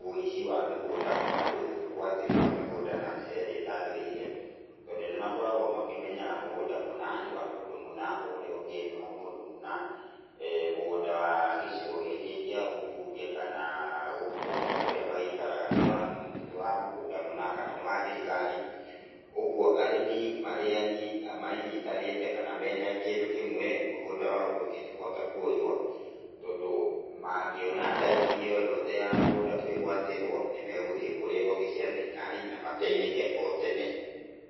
wũici wa mĩgũnda kana wĩ ĩgwatĩri wa mĩgũnda na njĩra ĩrĩa ĩtaagĩrĩire. Tondũ nĩ makoragwo makĩmenya mũgũnda mũna nĩ wa mũndũ mũna, ũrĩa ũngĩ nĩ wa mũndũ mũna, mũgũnda wa gĩcigo gĩkĩ kĩa ũmbunge kana gũkũ kũrĩa maikaraga, nĩ wa mũgũnda mũna kana nĩ wa thirikari. Ũguo, arĩmi marĩ manyitanĩte kana me kĩndũ kĩmwe, mũgũnda wao ndũngĩhota kũoywo tondũ, mangĩona dalili yoyothe ya mũgũnda kũĩgwatĩrwo, nĩ megũthiĩ kũrĩ honge cia thirikari na mateithĩke o tene.